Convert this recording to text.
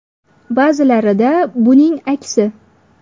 Ba’zilarida buning aksi.